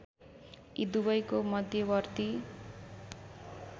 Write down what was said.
यी दुबैको मध्यवर्ती